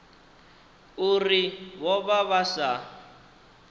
uri vho vha vha sa